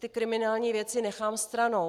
Ty kriminální věci nechám stranou.